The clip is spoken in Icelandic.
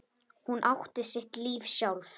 Hún átti sitt líf sjálf.